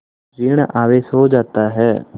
ॠण आवेश हो जाता है